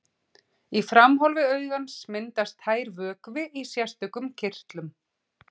Í framhólfi augans myndast tær vökvi í sérstökum kirtlum.